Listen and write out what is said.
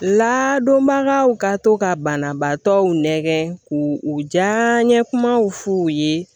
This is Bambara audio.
Ladonbagaw ka to ka banabaatɔw nɛgɛngɛn k'u u diya ɲɛ kumaw f'u ye